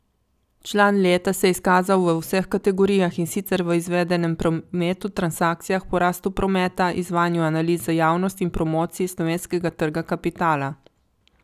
Član leta se je izkazal v vseh kategorijah, in sicer izvedenem prometu, transakcijah, porastu prometa, izvajanju analiz za javnost in promociji slovenskega trga kapitala.